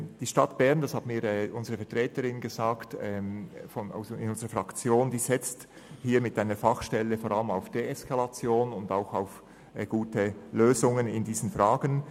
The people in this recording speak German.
Wie mir eine Vertreterin unserer Fraktion gesagt hat, setzt die Stadt Bern mit einer Fachstelle vor allem auf Deeskalation und gute Lösungen in diesen Fragen.